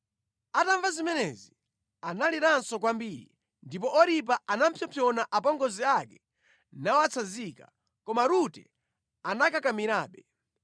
Atamva zimenezi analiranso kwambiri, ndipo Oripa anapsompsona apongozi ake nawatsanzika, koma Rute anakakamirabe.